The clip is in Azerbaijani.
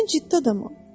Mən ciddi adamam.